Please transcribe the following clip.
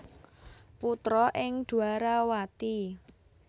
Putra ing Dwarawati